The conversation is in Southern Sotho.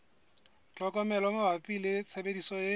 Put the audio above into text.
tlhokomelo mabapi le tshebediso e